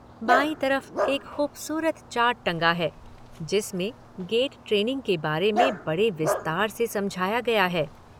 बांई तरफ एक खूबसूरत चार्ट टंगा है जिसमें गेट ट्रेनिंग के बारे मे बड़े विस्तार से समझाया गया है।